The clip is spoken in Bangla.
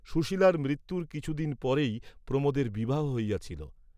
সুশীলার মৃত্যুর কিছু দিন পরেই প্রমোদের বিবাহ হইয়াছিল।